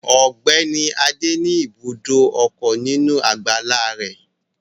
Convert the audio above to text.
Ọ̀gbẹ́ni adé ní ibùdó ọkọ̀ nínú àgbàlá rẹ̀